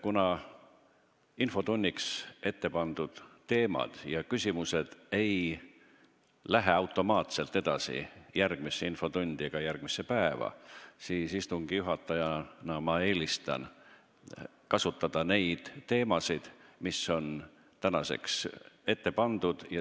Kuna infotunniks ettepandud teemad ja küsimused ei lähe automaatselt edasi järgmisse infotundi ega järgmisse päeva, siis istungi juhatajana eelistan neid teemasid, mis on tänaseks ette pandud.